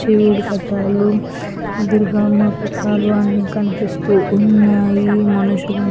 శివుడు పట్టాలు దుర్గమ్మ పట్టాలు అన్నీ కనిపిస్తూ ఉన్నాయి. మనుషులు --